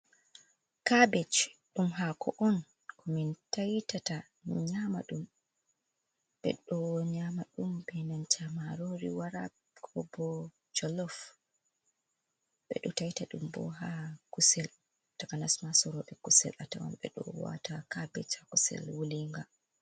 "Kabej" ɗum hako on ko min taitata ɓeɗo nyama ɗum be nanta marori wara ko bo jolof ɓeɗo taita ɗum bo ha kusel takanasma sorobe kusel atawan ɓeɗo wata kabej ha kusel wulinga.